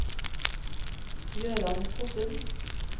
Jøran Fossum